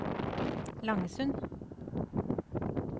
Langesund